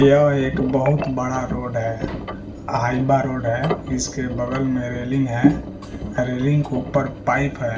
यह एक बहुत बाड़ा रोड है हाइबा रोड है इसके बगल में रेलिंग है अ रेलिंग के ऊपर पाइप है।